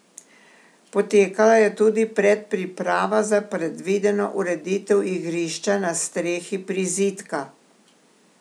Potekala je tudi predpriprava za predvideno ureditev igrišča na strehi prizidka.